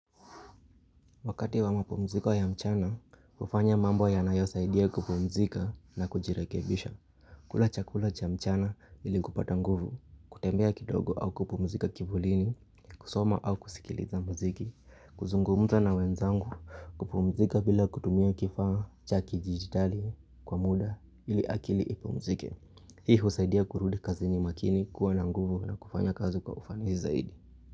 Wakati wa mapumziko ya mchana, hufanya mambo yanayosaidia kupumzika na kujirekebisha. Kula chakula cha mchana ili kupata nguvu, kutembea kidogo au kupumzika kivulini, kusoma au kusikiliza mziki, kuzungumza na wenzangu, kupumzika bila kutumia kifaa cha kidijitali kwa muda ili akili ipumzike. Hii husaidia kurudi kazini makini kuwa na nguvu na kufanya kazi kwa ufanisi zaidi.